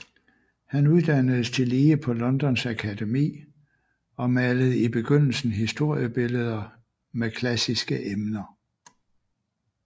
Han uddannedes tillige på Londons Akademi og malede i begyndelsen historiebilleder med klassiske emner